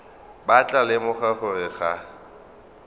ba tla lemoga gore ga